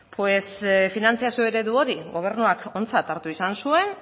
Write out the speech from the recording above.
finantzazio eredu hori gobernuak ontzat hartu izan zuen